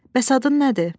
Bəs adın nədir?